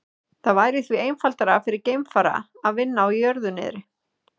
Það væri því einfaldara fyrir geimfara að vinna á jörðu niðri.